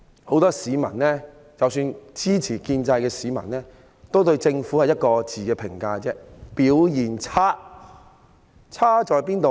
很多市民，即使是支持建制派的市民，對政府的評價只有一個，就是表現差。